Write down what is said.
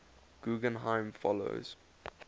guggenheim fellows